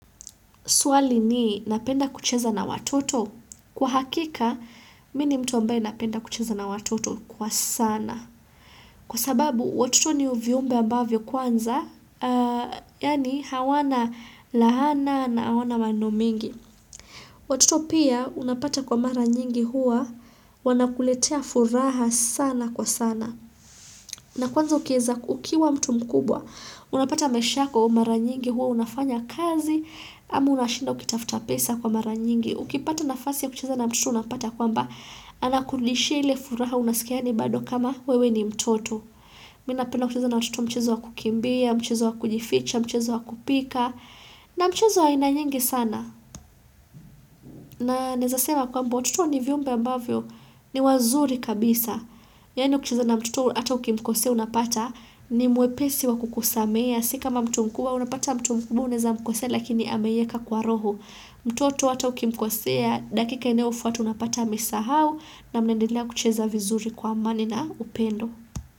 Swali ni napenda kucheza na watoto? Kwa hakika, mi ni mtu ambaye napenda kucheza na watoto kwa sana. Kwa sababu, watoto ni uviumbe ambavyo kwanza, yani hawana lahana na hawana maneno mengi. Watoto pia, unapata kwa mara nyingi huwa, wanakuletea furaha sana kwa sana. Na kwanza ukieza, ukiwa mtu mkubwa, unapata maishako mara nyingi huwa, unafanya kazi, ama unashinda ukitafuta pesa kwa mara nyingi. Ukipata nafasi ya kucheza na mtoto unapata kwamba anakurudishia ile furaha unasikia ni baado kama wewe ni mtoto. Mi napenda kucheza na watoto mchezo wa kukimbia, mchezo wa kujificha, mchezo wa kupika, na mchezo wa aina nyingi sana. Na naezasema kwamba watoto ni viumbe ambavyo ni wazuri kabisa. Yani ukicheza na mtoto ata ukimkosea unapata ni mwepesi wa kukusamehea, si kama mtu mkubwa unapata mtu mkubwa unaweza mkosoea lakini ameieka kwa roho. Mtoto hata ukimkosea dakika inaofuata unapata amesahau na mnaendelea kucheza vizuri kwa amani na upendo.